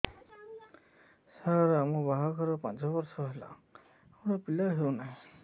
ସାର ଆମ ବାହା ଘର ପାଞ୍ଚ ବର୍ଷ ହେଲା ଆମର ପିଲା ହେଉନାହିଁ